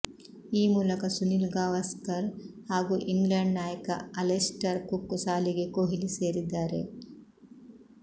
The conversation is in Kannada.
ಈ ಮೂಲಕ ಸುನಿಲ್ ಗವಾಸ್ಕರ್ ಹಾಗೂ ಇಂಗ್ಲೆಂಡ್ ನಾಯಕ ಅಲೆಸ್ಟರ್ ಕುಕ್ ಸಾಲಿಗೆ ಕೊಹ್ಲಿ ಸೇರಿದ್ದಾರೆ